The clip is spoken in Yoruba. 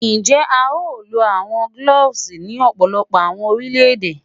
Njẹ a yoo lo awọn cloves ni ọpọlọpọ awọn orilẹ-ede?